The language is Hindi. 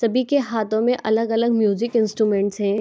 सभी के हाथो में अलग-अलग म्यूजिक इंस्ट्रूमेंट्स है।